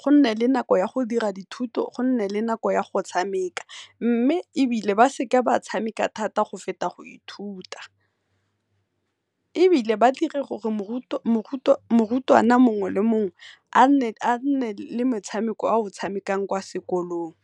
go nne le nako ya go dira dithuto go nne le nako ya go tshameka, mme ebile ba seka ba tshameka thata go feta go ithuta. Ebile ba dire gore morutwana mongwe le mogwe a nne le motshameko a o tshamekang kwa sekolong.